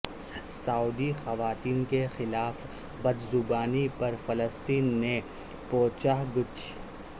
سعودی خواتین کےخلاف بد زبانی پر فلسطینی سے پوچھ گچھ